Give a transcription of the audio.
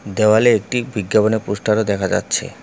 দেওয়ালে একটি বিজ্ঞাপনের পোস্টারও দেখা যাচ্ছে।